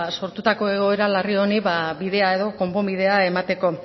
sortutako egoera larri honi bidea edo konponbidea emateko